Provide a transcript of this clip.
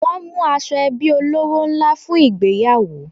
Wọ́n mú aṣọ ẹbí olówó ńlá fún ìgbéyàwó